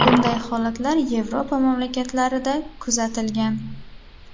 Bunday holatlar Yevropa mamlakatlarida kuzatilgan.